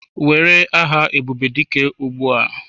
Were aha Ebubedike ugbu a!